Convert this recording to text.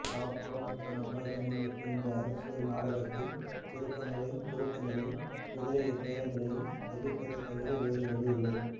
பாவப்பட்ட மஹாஜனங்களுக்கும் இந்த அரசியல் நாடகத்தின் திருப்பங்களையும் குலுக்கங்களையும் குதிரைபேரங்களையும் சகிப்பதைத்தவிரவேறுவழியில்லை